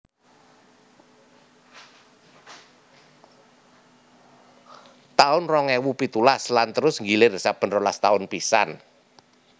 taun rong ewu pitulas lan terus nggilir saben rolas taun pisan